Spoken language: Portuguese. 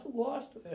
Eu gosto. É